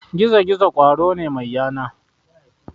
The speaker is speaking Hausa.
Gizo-gizo ƙwaro ne mai yana.